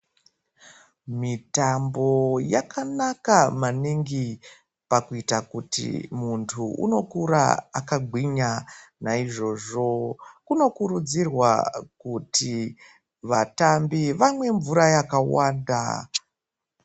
Mitambo yakanaka maningi pakuita kuti muntu unokura akagwinya naizvozvo kunokurudzirwa kuti vatambi vamwe mvura yakawanda.